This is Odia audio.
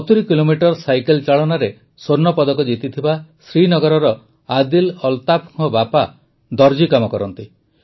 ୭୦ କିଲୋମିଟର ସାଇକେଲ ଚାଳନାରେ ସ୍ୱର୍ଣ୍ଣପଦକ ଜିତିଥିବା ଶ୍ରୀନଗରର ଆଦିଲ ଅଲ୍ତାଫ୍ଙ୍କ ବାପା ଦରଜୀ କାମ କରନ୍ତି